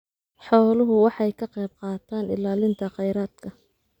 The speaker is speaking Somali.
Xooluhu waxay ka qaybqaataan ilaalinta kheyraadka.